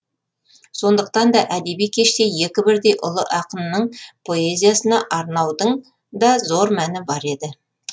сондықтан да әдеби кеште екі бірдей ұлы ақынның поэзиясына арнаудың да зор мәні бар еді